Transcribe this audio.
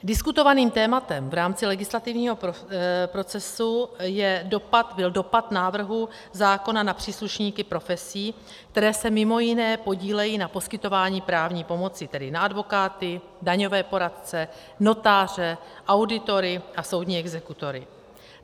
Diskutovaným tématem v rámci legislativního procesu byl dopad návrhu zákona na příslušníky profesí, které se mimo jiné podílejí na poskytování právní pomoci, tedy na advokáty, daňové poradce, notáře, auditory a soudní exekutory.